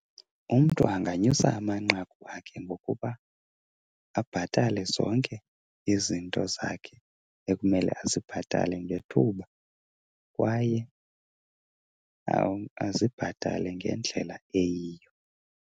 Umntu anganyusa amanqaku akhe ngokuba abhatale zonke izinto zakhe ekumele azibhatale ngethuba kwaye azibhatale ngendlela eyiyo.